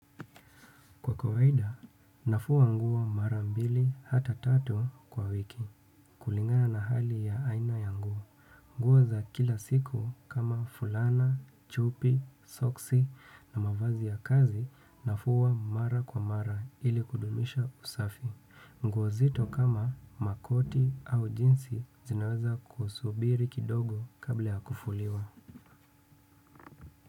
Kwa kawaida, nafua nguo mara mbili hata tatu kwa wiki. Kulingana na hali ya aina ya nguo nguo za kila siku kama fulana, chupi, soksi na mavazi ya kazi nafua mara kwa mara ili kudumisha usafi. Nguo nzito kama makoti au jinsi zinaweza kusubiri kidogo kabla ya kufuliwa.